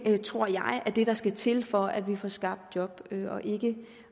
tror jeg er det der skal til for at vi får skabt job